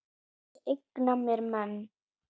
Ég eigna mér menn.